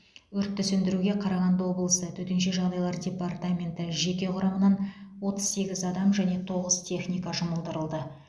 өртті сөндіруге қарағанды облысы төтенше жағдайлар департаменті жеке құрамынан отыз сегіз адам және тоғыз техника жұмылдырылды